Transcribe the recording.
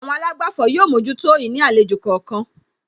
Àwọn àlágbàfọ̀ yóò mójútó ìní àlejò kọ̀ọ̀kan